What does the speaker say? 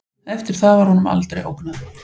Eftir það var honum aldrei ógnað